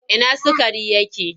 Ina sukari yake?